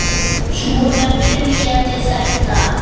Svona byrjaði þetta.